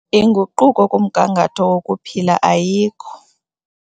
Inguquko kumgangatho wokuphila ayikho.